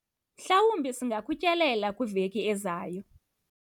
mhlawumbi singakutyelela kwiveki ezayo